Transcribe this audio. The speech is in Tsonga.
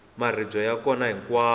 maribye ya kona hinkwako